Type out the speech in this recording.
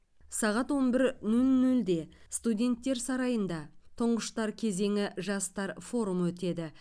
сағат он бір нөл нөлде студенттер сарайында тұңғыштар кезеңі жастар форумы өтеді